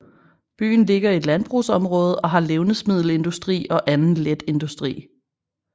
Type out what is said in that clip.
Byen ligger i et landbrugsområde og har levnedsmiddelindustri og anden letindustri